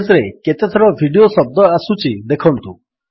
page ରେ କେତେଥର video ଶବ୍ଦ ଆସୁଛି ଦେଖନ୍ତୁ